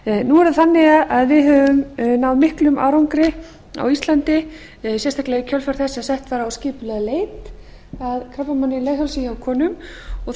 nú er það þannig að við höfum náð miklum árangri á íslandi sérstaklega í kjölfar þess að sett var á skipuleg leit að krabbameini i leghálsi hjá